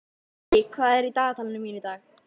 Sirrí, hvað er í dagatalinu mínu í dag?